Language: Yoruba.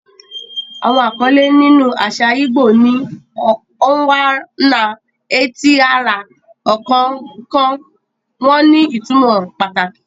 Àwọn àkọlé nínú àṣà ìgbò ni "Onwa-na-etili-ora," ọ̀kọ̀ọ̀kan wọn ní ìtumọ̀ pàtàkì.